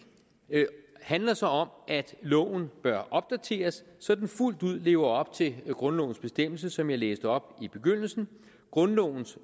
handler så om at loven bør opdateres så den fuldt ud lever op til grundlovens bestemmelse som jeg læste op i begyndelsen grundlovens